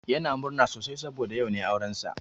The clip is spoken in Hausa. Yans murna sosai saboda yau ne aurensa.